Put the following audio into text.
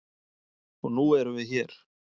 Og nú erum við hér.